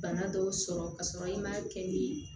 Bana dɔw sɔrɔ ka sɔrɔ i ma kɛ ni